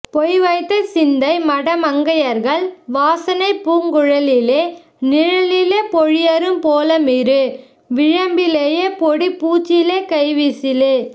பொய்வைத்த சிந்தை மடமங்கையர்கள் வாசனைப் பூங்குழலிலே நிழலிலேபொழியம்புபோலமிரு விழியம்பிலே பொடிப்பூச்சிலே கைவீச்சிலே